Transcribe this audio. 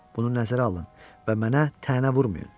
Bunu nəzərə alın və mənə tənə vurmayın.